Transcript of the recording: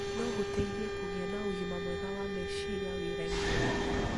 no gũteithie kũgĩa na ũgima mwega wa meciria wĩra-inĩ.